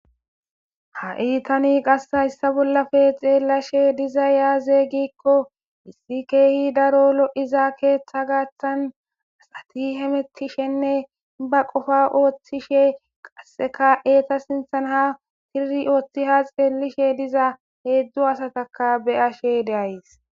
ha iitani qasseka issa bollafe xeellashe diza yaaze gikko issi keehi daro lo7izaa keeththa gaaththan asati hemettishenne ba qofa ooththishe qasseka eeta sinthan ha tiri ooththi ha xeellishe diza heedzdzu asataka beyashe de7ays.